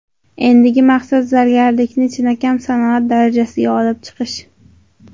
Endigi maqsad zargarlikni chinakam sanoat darajasiga olib chiqish.